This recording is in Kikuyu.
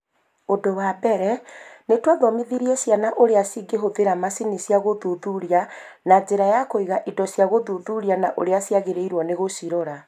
Ũndũ wa mbere, nĩ twathomithirie ciana ũrĩa cingĩhũthĩra macini cia gũthuthuria na njĩra ya kũiga indo cia gũthuthuria na ũrĩa ciagĩrĩirwo nĩ gũcirora.